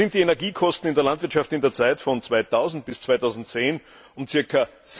So sind die Energiekosten in der Landwirtschaft in der Zeit von 2000 bis 2010 um ca.